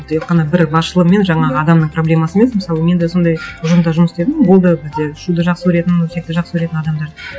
тек қана бір басшылығы мен жаңағы адамның проблемасы емес мысалы мен де сондай ұжымда жұмыс істедім болды бізде шуды жақсы көретін өсекті жақсы көретін адамдар